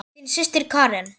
Þín systir Karen.